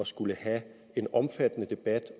skulle have en omfattende debat